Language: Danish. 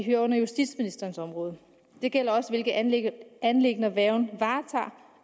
ind under justitsministerens område og det gælder også hvilke anliggender anliggender værgen